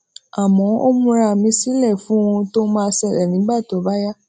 àmó ó múra mi sílè fún ohun tó máa ṣẹlè nígbà tó bá yá